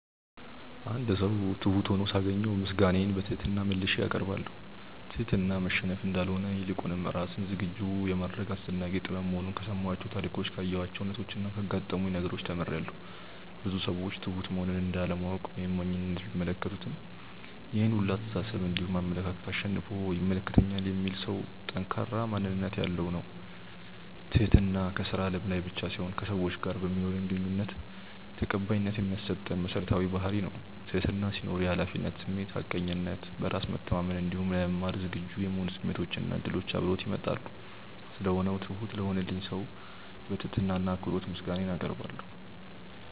አንድ ሰው ትሁት ሁኖ ሳገኘው ምስጋናዬን በትህትና መልሼ አቀርባለሁ። ትህትና መሸነፍ እንዳልሆነ ይልቁንም ራስን ዝግጁ የማድረግ አስደናቂ ጥበብ መሆኑን ከሰማኋቸው ታሪኮች ካየኋቸው ሁነቾች እና ካጋጠሙኝ ነገሮች ተምሬያለው። ብዙ ሰዎች ትሁት መሆንን እንደ አለማወቅ ወይም ሞኝነት ቢመለከቱትም ይሄን ሁላ አስተሳሰብ እንዲሁም አመለካከት አሸንፎ ይመለከተኛል የሚል ሰው ጠንካራ ማንነት ያለው ነው። ትህትና ከስራ አለም ላይ ብቻ ሳይሆን ከሰዎች ጋር በማኖረን ግንኙነት ተቀባይነት የሚያሰጠን መሰረታዊ ባህርይ ነው። ትህትና ሲኖር የሀላፊነት ስሜት፣ ሀቀኝነት፣ በራስ መተማመን እንዲሁም ለመማር ዝግጁ የመሆን ስሜቶች እና እድሎች አብረውት ይመጣሉ። ስለሆነው ትሁት ለሆነልኝ ሰው በትህትና እና በአክብሮት ምስጋናዬን አቀርባለሁ።